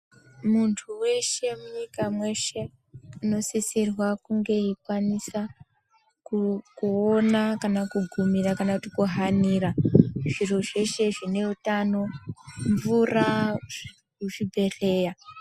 Muntu weshe munyika mweshe unosisirwa kunge eikwanisa kuona kana kugumira kana kuhanira zviro zveshe zvine utano, mvura, muzvibhehlera.